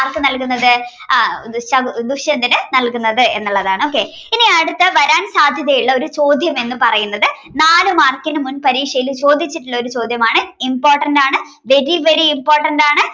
ആർക്ക് നൽകുന്നത് ആഹ് ശകുദുഷ്യന്തന് നൽകുന്നത് എന്നുള്ളതാണ് okay ഇനി അടുത്ത വരാൻ സാധ്യതയുള്ള ഒരു ചോദ്യം എന്ന് പറയുന്നത് നാല് മാർക്കിന് മുൻ പരീക്ഷയിൽ ചോദിച്ചിട്ടുള്ള ഒരു ചോദ്യമാണ് important ആണ് very very important ആണ്